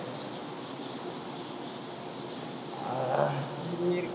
ஆஹ் அஹ்